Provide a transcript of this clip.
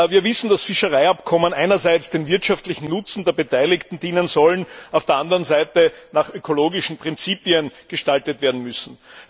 Wir wissen, dass Fischereiabkommen einerseits von wirtschaftlichem Nutzen für die Beteiligten sein sollen, auf der anderen Seite nach ökologischen Prinzipien gestaltet werden müssen.